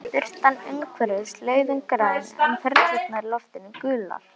Birtan umhverfis laugina var græn, en perurnar í loftinu gular.